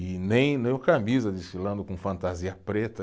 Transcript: E nem, nem o camisa desfilando com fantasia preta.